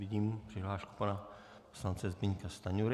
Vidím přihlášku pana poslance Zbyňka Stanjury.